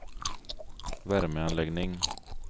värmeanläggning